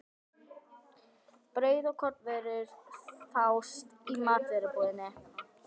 Brauð og kornvörur fást í matvörubúðinni.